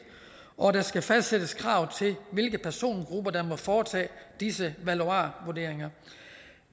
og der skal fastsættes krav til hvilke persongrupper der må foretage disse valuarvurderinger